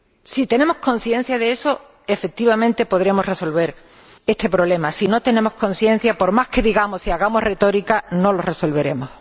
Si tenemos conciencia de eso, efectivamente, podríamos resolver este problema. Si no tenemos conciencia, por más que digamos y hagamos retórica, no lo resolveremos.